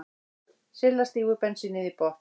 Silla stígur bensínið í botn.